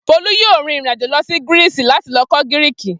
Folú yóò rìnrìn-àjò lọ Greece láti lọ kọ́ Gíríìkì.